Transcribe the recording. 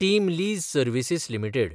team Lease Services limited